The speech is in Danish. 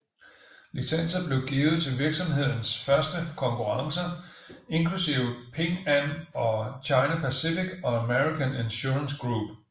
Licenser blev givet til virksomhedens første konkurrencer inklusive Ping An og China Pacific og American Insurance Group